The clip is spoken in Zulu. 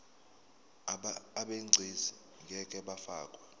abegcis ngeke bafakwa